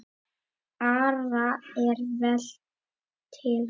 Ara er vel til hans.